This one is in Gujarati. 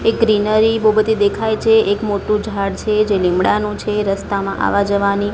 એ ગ્રીનરી બો બધી દેખાય છે એક મોટ્ટુ ઝાડ છે જે લીમડાનું છે રસ્તામાં આવા જવાની--